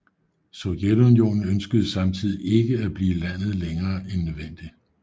Sovjetunionen ønskede samtidigt ikke at blive i landet længere end nødvendigt